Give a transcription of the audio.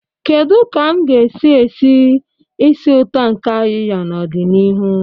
Kedu ka m ga-esi esi ísì ụtọ nke ayiya n'ọdịnihu?